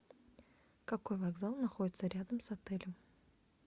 какой вокзал находится рядом с отелем